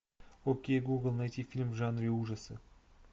окей гугл найти фильм в жанре ужасы